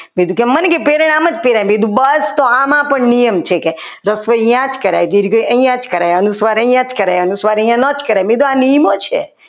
મન કીધું પ્રેરણ આમ જ પહેરાય બસ આમાં પણ નિયમ છે કે રસવઇ આ જ કરાય દિલ ગઈ અહીંયા જ કરાય અનુસ્વાર અહીંયા જ કરાય અનુસ્વાર અહીંયા નોંધ કરાય મેં કીધું આ નિયમો છે.